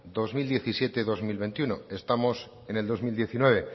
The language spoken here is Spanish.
dos mil diecisiete dos mil veintiuno estamos en el dos mil diecinueve